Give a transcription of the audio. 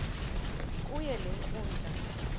kuyo le nkundla